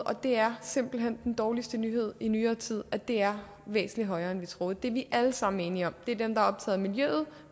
og det er simpelt hen den dårligste nyhed i nyere tid at det er væsentlig højere end vi troede det er vi alle sammen enige om det er dem der er